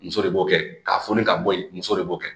Muso de b'o kɛ ka fɔni ka bɔ ye muso de b'o kɛ